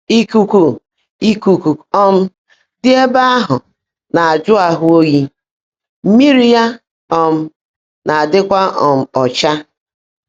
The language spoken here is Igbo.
Íkúkú Íkúkú um ḍị́ ébè áhụ́ ná-ájụ́ áhụ́ óyí, mmị́rí yá um ná-ádị́kwá um ọ́chá.